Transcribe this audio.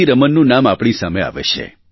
રમનનું નામ આપણી સામે આવે છે